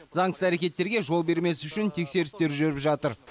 заңсыз әрекеттерге жол бермес үшін тексерістер жүріп жатыр